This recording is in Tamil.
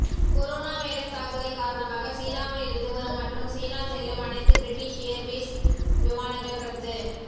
கொரோனா வைரஸ் தாக்குதல் காரணமாக சீனாவிலிருந்து வரும் மற்றும் சீனா செல்லும் அனைத்து பிரிட்டிஷ் ஏர்வேஸ் விமானங்கள் ரத்து